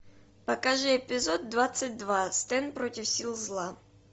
покажи эпизод двадцать два стэн против сил зла